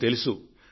మనకు తెలుసు